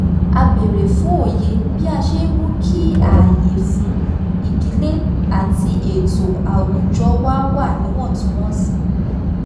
a béèrè fún òye bí a ṣe ń mú kí ààyè fún ìdílé àti ètò àwùjọwà wà níwọ̀ntúnwọ̀nsì